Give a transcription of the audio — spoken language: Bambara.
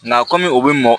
Nga kɔmi u bɛ mɔn